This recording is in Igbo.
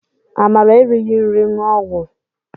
Amara erighi nri ñụọ ọgwụ